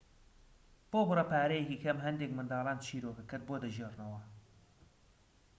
بۆ بڕە پارەیەکی کەم هەندێك منداڵان چیرۆکەکەت بۆ دەگێڕنەوە